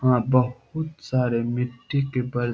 हा बोहोत सारे मिट्टी के बल --